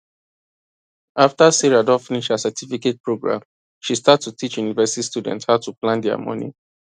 after sarah don finish her certificate program she start to teach university students how to plan their money